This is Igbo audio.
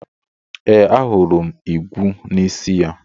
Ee, ahụrụ m igwu n'isi ya.